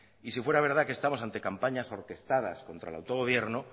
y si fuera verdad que estamos ante campañas orquestadas contra el autogobierno